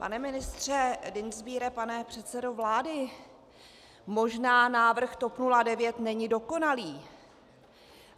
Pane ministře Dienstbiere, pane předsedo vlády, možná návrh TOP 09 není dokonalý.